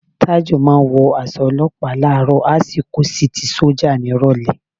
Tájù máa ń wọ aṣọ olọ́pàá láàárọ̀ á sì kó sí ti sọ́jà nírọ̀lẹ́